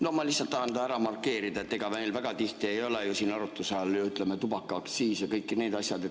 No ma lihtsalt tahan selle ära markeerida, ega meil väga tihti ei ole siin arutuse all tubakaaktsiis ja kõik need asjad.